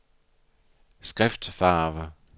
skriftfarve